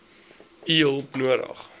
u hulp nodig